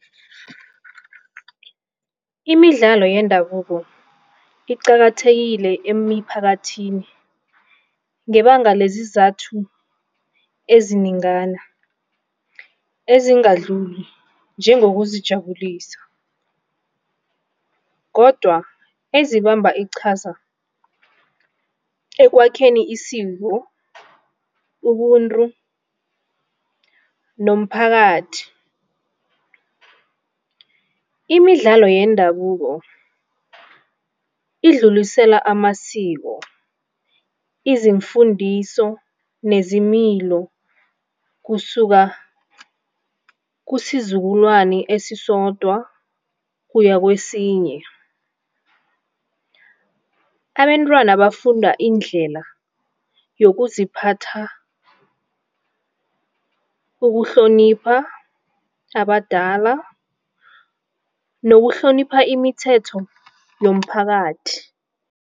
Imidlalo yendabuko iqakathekile emiphakathini ngebanga lezizathu ezinengana ezingadluli njengozijabulisa kodwa esibamba iqhaza emkwakheni isiko, ubuntu nomphakathi. Imidlalo yendabuko idlulisela amasiko, izimfundiso nezimilo kusuka kusizukulwani esisodwa kuya kwesinye. Abentwana bafunda indlela yokuziphatha, ukuhlonipha abadala nokuhloniphana imithetho yomphakathi.